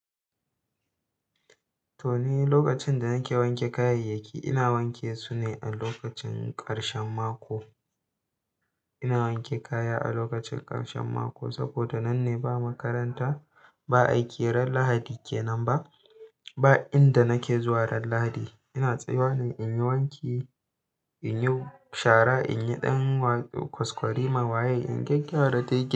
To ni lokacin da nake wanke kayayyaki, ina wanke su ne a lokacin ƙarshen mako. Ina wanke kaya a lokacin ƙarshen mako saboda nan ne ba makaranta ba aiki ranar Lahadi kenan ba. Ba inda nake zuwa ran Lahadi. Ina tsayawa ne in yi wanki, in yi shara, in yi ɗan kwaskwarima waye in gyagyara dai gid.